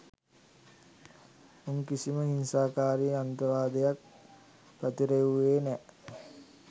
උන් කිසිම හිංසාකාරී අන්තවාදයක් පතිරෙව්වුවේ නැ